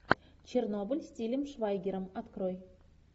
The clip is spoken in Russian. чернобыль с тилем швайгером открой